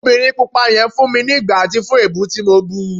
obìnrín pupa yen fún mi igbáti fún ebú ti mọ bú